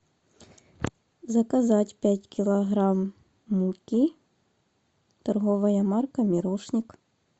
заказать пять килограмм муки торговая марка мирошник